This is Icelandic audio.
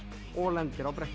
og lendir á brettinu